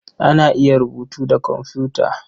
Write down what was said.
Ana iya rubutu da komfuta.